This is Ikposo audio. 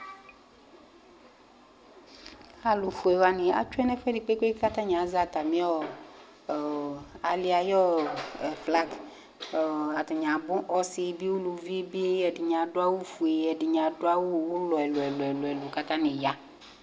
Alʋfue wanɩ atsue nʋ ɛfʋɛdɩ kpe-kpe-kpe kʋ atanɩ azɛ atamɩ ɔ ɔ alɩ yɛ ayʋ ɛ flag kʋ ɔ atanɩ abʋ, ɔsɩ bɩ uluvi bɩ Ɛdɩnɩ adʋ awʋfue, ɛdɩnɩ adʋ awʋ ʋlɔ ɛlʋ-ɛlʋ kʋ atanɩ ya